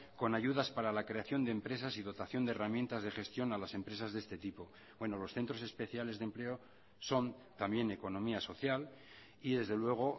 con ayudas para la creación de empresas y dotación de herramientas de gestión a las empresas de este tipo bueno los centros especiales de empleo son también economía social y desde luego